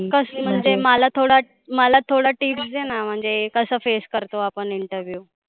कसली म्हणजे मला थोडं, मला थोडं tips दे ना. म्हणजे कसं face करतो आपण interview